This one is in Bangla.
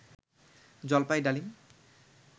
জলপাই ডালিম